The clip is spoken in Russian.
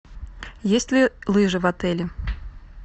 есть ли лыжи в отеле